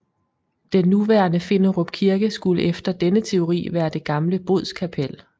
Den nuværende Finderup Kirke skulle efter denne teori være det gamle bodskapel